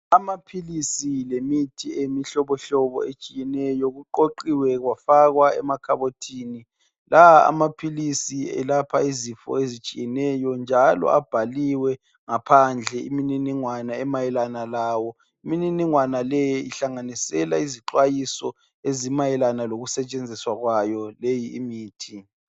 Amaphilizi lemitshi imihlobo etshiyeneyo kuqoqiwe kwafakwa emakhabothi amaphilisi elapha izifo ezitshiyeneyo njalo abhaliwe ngaphandle imininingwana emayelana lawo imininingwane leyo ihlanganisela izixwayiso ezimayelana ezimayelana lokusetshenziswa kwayo leyo mithi